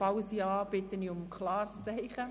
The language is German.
Falls ja, bitte ich um ein klares Zeichen.